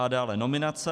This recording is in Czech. A dále nominace.